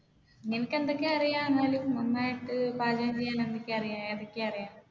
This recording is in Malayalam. നിനക്ക് എന്തൊക്കെ അറിയാം എന്നാലും നന്നായിട്ട് പാചകം ചെയ്യാൻ ഏതൊക്കെ അറിയാം?